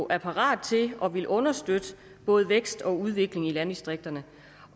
er parat til at ville understøtte både vækst og udvikling i landdistrikterne